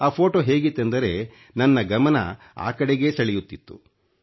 ಆ ಫೋಟೋ ಹೇಗಿತ್ತೆಂದರೆ ನನ್ನ ಗಮನ ಆ ಕಡೆಗೆ ಸೆಳೆಯುತ್ತಿತ್ತು